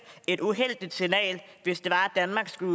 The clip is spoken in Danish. et uheldigt signal hvis det var at danmark skulle